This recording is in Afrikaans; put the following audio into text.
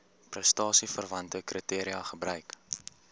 prestasieverwante kriteria gebruik